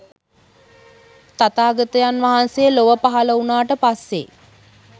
තථාගතයන් වහන්සේ ලොව පහල වුණාට පස්සේ.